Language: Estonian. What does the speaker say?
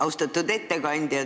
Austatud ettekandja!